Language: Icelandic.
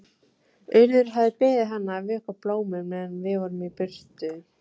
Urður hafði beðið hana að vökva blómin meðan við vorum í burtu.